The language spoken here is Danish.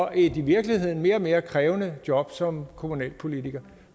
i virkeligheden mere og mere krævende job som kommunalpolitiker